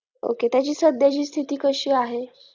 okay त्याची सध्याची स्थिती कशी आहे